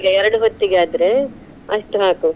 ಈಗ ಎರಡ್ ಹೊತ್ತಿಗಾದ್ರೆ ಅಷ್ಟ್ ಹಾಕು.